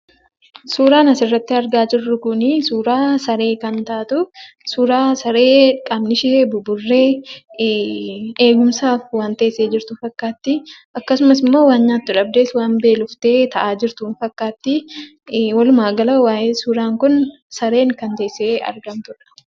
Suuraan asirratti argaa jirru suuraa saree kan taatu suuraa saree dhagni ishee buburree eegumsaaf waan teessee jirtu fakkaatti. Akkasumas immoo waan nyaattu dhabdee waan beeloftee taa'aa jirtu ni fakkaatti. Walumaa gala suuraan kun kan saree teessee hargantudha.